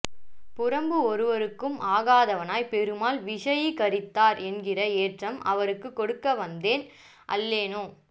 புறம்பு ஒருவருக்கும் ஆகாதவனை பெருமாள் விஷயீ கரித்தார் என்கிற ஏற்றம் அவர்க்கு கொடுக்க வந்தேன் அல்லேனோ